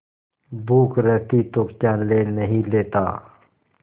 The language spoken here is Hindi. भूख रहती तो क्या ले नहीं लेता